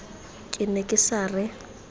ke ne ke sa re